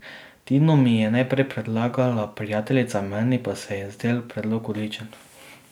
Tino mi je najprej predlagala prijateljica, meni pa se je zdel predlog odličen.